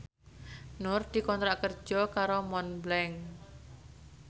Nur dikontrak kerja karo Montblanc